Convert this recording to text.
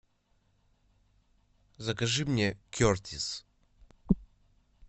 закажи мне кертис